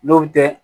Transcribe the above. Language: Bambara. N'o bɛ kɛ